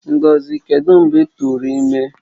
Ngozi, kedu mgbe i turu imi?